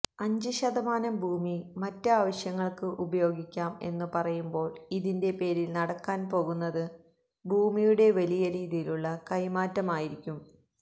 അഞ്ച് ശതമാനം ഭൂമി മറ്റ് ആവശ്യങ്ങള്ക്ക് ഉപയോഗിക്കാം എന്നുപറയുമ്പോള് ഇതിന്റെ പേരില് നടക്കാന് പോകുന്നത് ഭൂമിയുടെ വലിയ രീതിയിലുള്ള കൈമാറ്റമായിരിക്കും